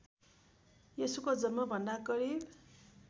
यशुको जन्मभन्दा करिब